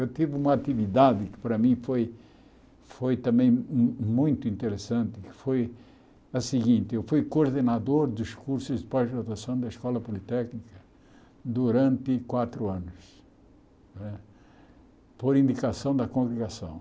Eu tive uma atividade que para mim foi foi também mu muito interessante, que foi a seguinte, eu fui coordenador dos cursos de pós-graduação da Escola Politécnica durante quatro anos não é, por indicação da congregação.